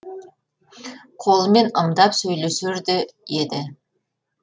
қолымен ымдап сөйлесер де еді